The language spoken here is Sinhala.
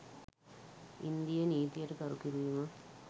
ඉන්දීය නීතියට ගරු කිරීම